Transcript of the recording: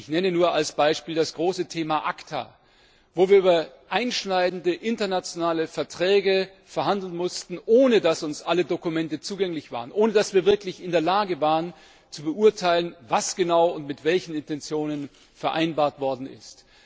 Ich nenne nur als Beispiel das große Thema ACTA, wo wir über einschneidende internationale Verträge verhandeln mussten, ohne dass uns alle Dokumente zugänglich waren, ohne dass wir wirklich in der Lage waren, zu beurteilen, was genau und mit welchen Intentionen vereinbart worden ist.